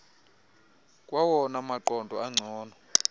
kwawona maqondo angcono